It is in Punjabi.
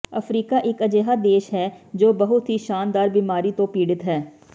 ਅਫਰੀਕਾ ਇੱਕ ਅਜਿਹਾ ਦੇਸ਼ ਹੈ ਜੋ ਬਹੁਤ ਹੀ ਸ਼ਾਨਦਾਰ ਬਿਮਾਰੀ ਤੋਂ ਪੀੜਿਤ ਹੈ